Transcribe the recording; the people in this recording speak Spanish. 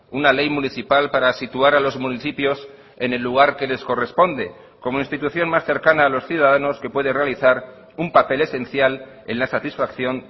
una ley municipal para situar a los municipios en el lugar que les corresponde como institución más cercana a los ciudadanos que puede realizar un papel esencial en la satisfacción